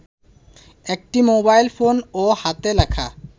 একটি মোবাইলফোন ও হাতে লেখা